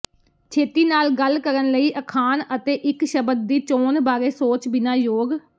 ਛੇਤੀ ਨਾਲ ਗੱਲ ਕਰਨ ਲਈ ਅਖਾਣ ਅਤੇ ਇੱਕ ਸ਼ਬਦ ਦੀ ਚੋਣ ਬਾਰੇ ਸੋਚ ਬਿਨਾ ਯੋਗ